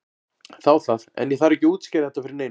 Þá það, en ég þarf ekki að útskýra þetta fyrir neinum.